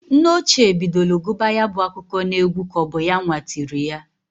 Nne ochie bidolu guba ya bụ akụkọ n'egwu k'ọbụ yanwa tiri ya.